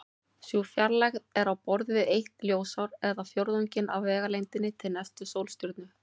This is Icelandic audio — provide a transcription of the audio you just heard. Sú fjarlægð er á borð við eitt ljósár eða fjórðunginn af vegalengdinni til næstu sólstjörnu.